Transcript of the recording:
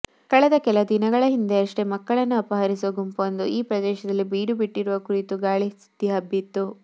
ಕಳೆದ ಕೆಲ ದಿನಗಳ ಹಿಂದಷ್ಟೇ ಮಕ್ಕಳನ್ನು ಅಪಹರಿಸುವ ಗುಂಪೊಂದು ಆ ಪ್ರದೇಶದಲ್ಲಿ ಬೀಡು ಬಿಟ್ಟಿರುವ ಕುರಿತು ಗಾಳಿ ಸುದ್ದಿ ಹಬ್ಬಿತ್ತು